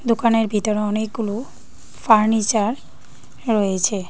দোকানের ভিতরে অনেকগুলো ফার্নিচার রয়েছে।